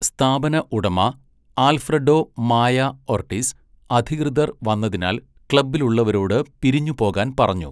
സ്ഥാപന ഉടമ, Alfredo Maya Ortiz അധികൃതർ വന്നതിനാൽ ക്ലബ്ബിലുള്ളവരോട് പിരിഞ്ഞുപോകാൻ പറഞ്ഞു.